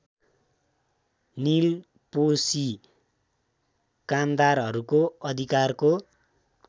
निलपोशी कामदारहरूको अधिकारको